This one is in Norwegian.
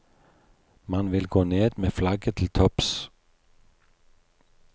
Man vil gå ned med flagget til topps.